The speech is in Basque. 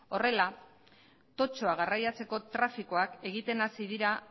horrela totxoa garraiatzeko trafikoak egiten hasi dira